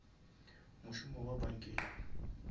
mošomo wa bankeng